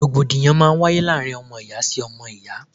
Rògbòdìyàn máa ń wáyé láàárín ọmọ ìyá sí ọmọ ìyá.